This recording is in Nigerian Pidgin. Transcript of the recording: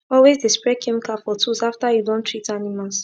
always de spray chemical for tools after you don treat animals